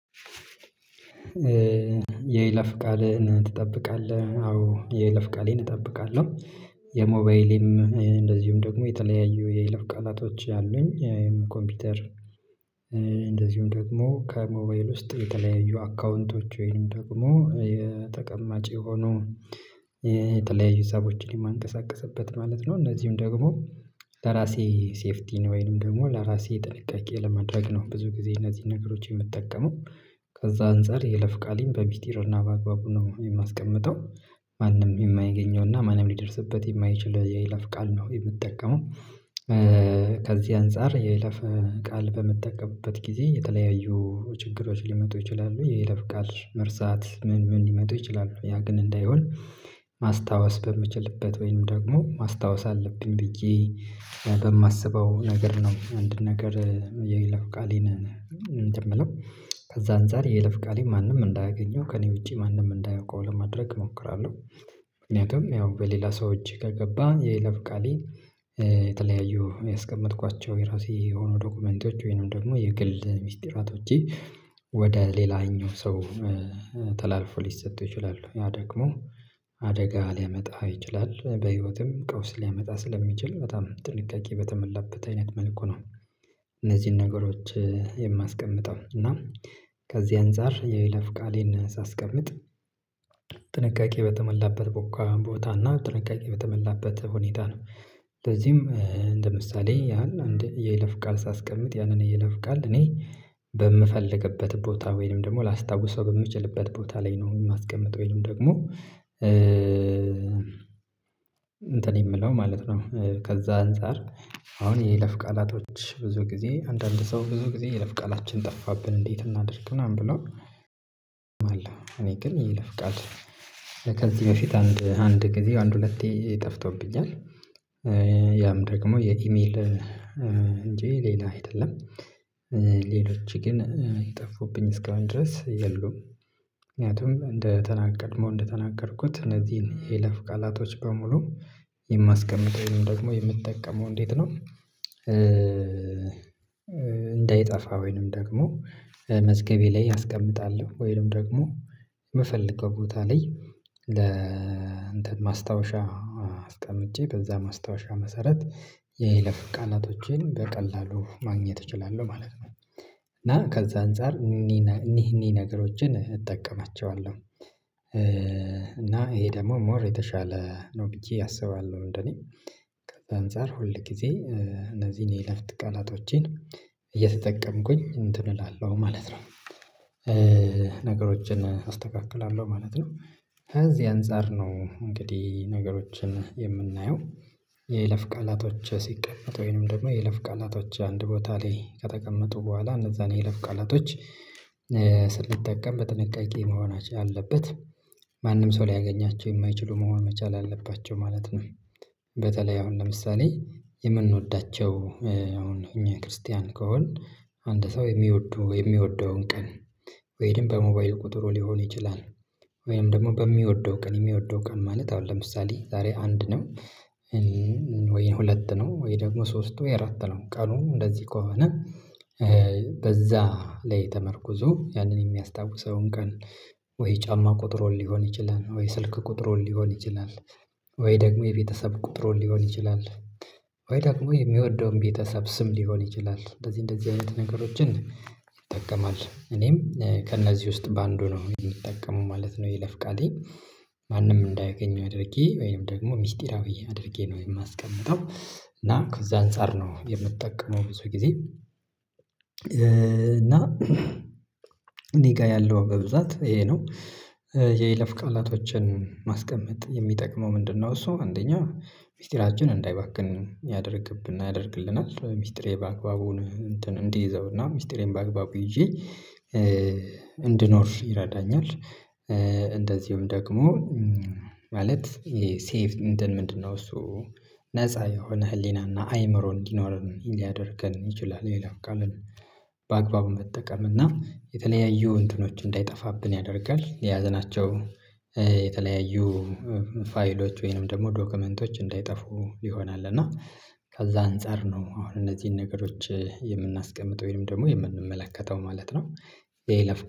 የይለፍ ቃልህን ትጠብቃለህ? አዎ የለፍ ቃሌን እጠብቃለሁ። የሞባይሌም እንደዚሁም ደግሞ የተለያዩ የይለፍ ቃላቶች አሉኝ ኮምፒውተር ደግሞ ከሞባይል ውስጥ የተለያዩ አካውንቶች ወይም ደግሞ የተቀማጭ የሆኑ የተለያዩ ሰዎችን የማንቀሳቀስበት ማለት ነው እነዚህም ደግሞ ለራሴ ሴፍቲ ወይንም ደግሞ ለራሴ ጥንቃቄ ለማድረግ ነው ብዙ ጊዜ እነዚህን ነገሮች የምጠቀመው። ከዛ አንፃር የለፍ ቃሌን በሚስጢርና በአግባቡ ነው የማስቀምጠው። ማንም የማይገኘውና ማንም ሊደርስበት የማይችል የይለፍ ቃል ነው የምጠቀመው ከዚህ አንፃር የይለፍ ቃል በምጠቀምበት ጊዜ የተለያዩ ችግሮች ሊመጡ ይችላሉ የይለፍ ቃል መርሳት ምን ምን ሊመጡ ይችላሉ ያ ግን እንዳይሆን ማስታወስ በምችልበት ወይንም ደግሞ ማስታወስ አለብኝ ብዬ በማስበው ነገር ነው አንድ ነገር የይለፍ ቃሌን እንትን የምለው ከዛ አንፃር የይለፍ ቃሌ ማንም እንዳያገኘው ከእኔ ውጪ ማንም እንዳያውቀው ለማድረግ እሞክራለሁ ምንያቱም ያው በሌላ ሰው እጅ ከገባ የይለፍ ቃሌ የተለያዩ የሚያስቀምጥኳቸው የራሴ የሆኑ ዶክመንቶች ወይንም ደግሞ የግል ሚስጥራቶቼ ወደ ሌላኛው ሰው ተላልፎ ሊሰጡ ይችላሉ። ያ ደግሞ አደጋ ሊያመጣ ይችላል በህይወትም ቀውስ ሊያመጣ ስለሚችል በጣም ጥንቃቄ በተመላበት አይነት መልኩ ነው እነዚህን ነገሮች የማስቀምጠው። እና ከዚህ አንፃር የይለፍ ቃሌን ሳስቀምጥ ጥንቃቄ በተመላበት ቦታ ቦታ እና ጥንቃቄ በተመላበት ሁኔታ ነው ለዚህም እንደ ምሳሌ ያን አንድ የይለፍ ቃል ሳስቀምጥ ያንን የይለፍ ቃል እኔ በምፈልግበት ቦታ ወይንም ደግሞ ላስታውሰው በምችልበት ቦታ ላይ ነው የማስቀምጠው። ወይንም ደግሞ እንትን የምለው ማለት ነው ከዛ አንፃር አሁን የይለፍ ቃላቶች ብዙ ጊዜ አንዳንድ ሰው ብዙ ጊዜ የይለፍ ቃላችን ጠፋብን እንዴት እናድርግ ምናምን ብሎ እኔ ግን ይለፍቃል ከዚህ በፊት አንድ አንድ ጊዜ አንድ ሁለቴ ይጠፍተውብኛል። ያም ደግሞ የኢሜልን እንጂ ሌላ አይደለም ግን ይጠፉብኝ እስከምን ድረስ የሉም ምክንያቱም እንደተናገርኩት እነዚህን የይለፍ ቃላቶች በሙሉ የማስቀምጠው ይሄንን ደግሞ የምትጠቀመው እንዴት ነው? እንዳይጠፋ ወይንም ደግሞ መዝገቤ ላይ አስቀምጣለሁ ወይንም ደግሞ የምፈልገው ቦታ ላይ ለእንትን ማስታወሻ አስቀምጬ በዛ ማስታወሻ መሰረት የይለፍ ቃላቶቼን በቀላሉ ማግኘት እችላለሁ ማለት። እና ከዛ አንፃር እኒህ እኒህ ነገሮችን እጠቀማቸዋለሁ። እና ይሄ ደግሞ ሞር የተሻለ ነው ብዬ አስባለሁ እንደነ ከዛ አንፃር ሁል ጊዜ እነዚህን የለፍት ቀናቶቼን እየተጠቀምኩኝ እንትን እላለሁ ማለት ነው። ነገሮችን አስተካክላለሁ ማለት ነው ከዚህ አንፃር ነው እንግዲህ ነገሮችን የምናየው። የይለፍ ቃላቶች ሲቀመጥ ወይንም ደግሞ የለፍ ቃላቶች አንድ ቦታ ላይ ከተቀመጡ በኋላ እነዛን የለብ ቃላቶች ስንጠቀም በጥንቃቄ መሆን አለበት ማንም ሰው ሊያገኛቸው የማይችሉ መሆን መቻል አለባቸው ማለት ነው። በተለይ አሁን ለምሳሌ የምንወዳቸው እኛ ክርስቲያን ከሆነ አንድ ሰው የሚወዱ የሚወደውን ቀን ወይም በሞባይል ቁጥሩ ሊሆን ይችላል ወይንም ደግሞ በሚወደው ቀን የሚወደው ቀን ማለት አሁን ለምሳሌ ዛሬ አንድ ነው ወይ ሁለት ነው ወይ ደግሞ ሶስቱ የአራት ነው ቀኑም እንደዚህ ከሆነ በዛ ላይ ተመርኩዞ ያንን የሚያስታውሰውን ቀን ወይ ጫማ ቁጥሩን ሊሆን ይችላል ወይ ስልክ ቁጥሩን ሊሆን ይችላል ወይ ደግሞ የቤተሰብ ቁጥሩን ሊሆን ይችላል ወይ ደግሞ የሚወደውን ቤተሰብ ስም ሊሆን ይችላል እንደዚህ እንደዚህ አይነት ነገሮችን ይጠቀማል እኔም ከእነዚህ ውስጥ በአንዱ ነው የምጠቀመው ማለት ነው። የይለፍ ቃሌ ማንም እንዳያገኘው አድርጌ ወይም ደግሞ ሚስጢራዊ አድርጌ ነው የማስቀምጠው እና ከዛ አንፃር ነው የምጠቀመው ብዙ ጊዜ እና እኔ ጋር ያለው በብዛት ይሄ ነው። የይለፍ ቃላቶችን ማስቀመጥ የሚጠቅመው ምንድነው? እሱ አንደኛው ሚስጥራችን እንዳይባክን ያደርግብና ያደርግልናል ሚስጥሬን በአክባቡ እንትን እንዲይዘውና ሚስጥሬን በአክባቡ ይዤ እንድኖር ይረዳኛል። እንደዚሁም ደግሞ ማለት ሴቭ ምንድነው እሱ ነፃ የሆነ ህሊናና አይምሮ እንዲኖረን ሊያደርገን ይችላል። የይለፍ ቃልን በአግባቡ መጠቀም እና የተለያዩ እንትኖች እንዳይጠፋብን ያደርጋል የያሽናቸው የተለያዩ ፋይሎች ወይንም ደግሞ ዶግመንቶች እንዳይጠፉ ይሆናል እና ከዛ አንፃር ነው አሁን እነዚህን ነገሮች የምናስቀምጠው ወይም ደግሞ የምንመለከተው ማለት ነው። የይለፍ ቃል